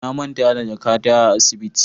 Na manta da jakata a asibiti.